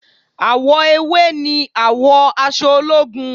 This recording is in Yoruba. Àwọ ewé ni àwọ aṣọ ológun